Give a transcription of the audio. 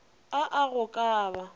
a a go ka ba